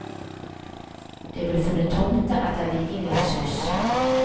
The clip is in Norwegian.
Det ble funnet tomter etter vikingenes hus.